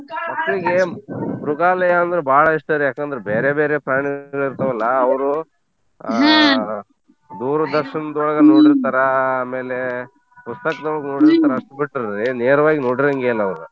ಮಕ್ಳಿಗೆ ಮೃಗಾಲಯ ಅಂದ್ರೆ ಬಾಳ ಇಷ್ಟಾರಿ ಯಾಕಂದ್ರೆ ಬೇರೆ ಬೇರೆ ಪ್ರಾಣಿಗಳಿರ್ತಾವಲ್ಲಾ ಅವ್ರು ಆಹ್ . ದೂರದರ್ಶನ್ದೊಳಗ್ ನೋಡಿರ್ತಾರ ಆಮೇಲೆ ಪುಸ್ತಕದೊಳ್ಗ್ ನೋಡಿರ್ತಾರ ಅಷ್ಟ್ ಬಿಟ್ರ್ ರೀ ನೇರ್ವಾಗ್ ನೋಡಿರಂಗೇ ಇಲ್ಲಾ ಅವ್ರು.